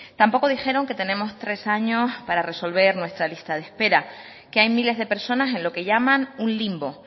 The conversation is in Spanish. tampoco dijeron que tenemos tres años para resolver nuestra lista de espera que hay miles de personas en lo que llaman un limbo